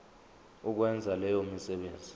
ukwenza leyo misebenzi